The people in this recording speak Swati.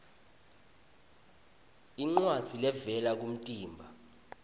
incwadzi levela kumtimba